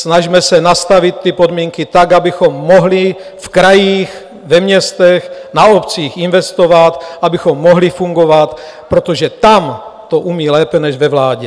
Snažme se nastavit ty podmínky tak, abychom mohli v krajích, ve městech, na obcích investovat, abychom mohli fungovat, protože tam to umí lépe než ve vládě.